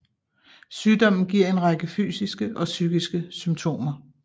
Sygdommen giver en række fysiske og psykiske symptomer